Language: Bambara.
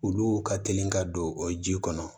Olu ka teli ka don o ji kɔnɔ